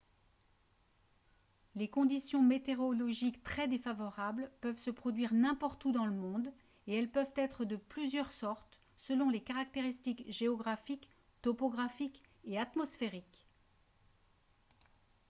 les conditions météorologiques très défavorables peuvent se produire n'importe où dans le monde et elles peuvent être de plusieurs sortes selon les caractéristiques géographiques topographiques et atmosphériques